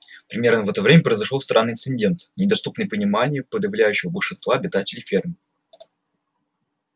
примерно в это время произошёл странный инцидент недоступный пониманию подавляющего большинства обитателей фермы